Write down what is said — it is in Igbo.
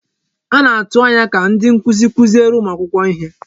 A na-atụ anya ka ndị nkuzi kuziere ụmụ akwụkwọ ihe.